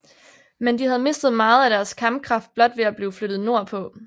Men de havde mistet meget af deres kampkraft blot ved at blive flyttet nordpå